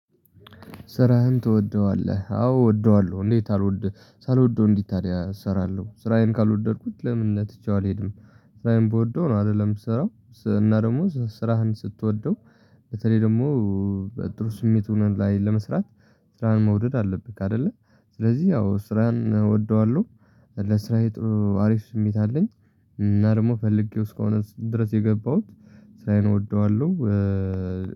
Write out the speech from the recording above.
ስራህን ትወደዋለህ አዎ እወደዋለሁ። እንዴት አልወድ ሳልወደው እንዴት ታዲያ እሰራለሁ ስራዬን ካልወደድኩት ለምን ነው ትቼው አልሄድም። ስራዬን ብወደው ነው አይደለም የምሰራው። እና ደግሞ ስራህን ስትወደው። በተለይ ደግሞ በጥሩ ስሜት ላይ ለመስራት ስራን መውደድ አለብህ አይደለ። ስለዚህ ያው ስራን እወደዋለሁ። ለስራዬ ጥሩ አሪፍ ስሜት አለኝ። እና ደግሞ ፈልጌው እስከሆነ ድረስ የገባሁት ስራዬን እወደዋለሁ።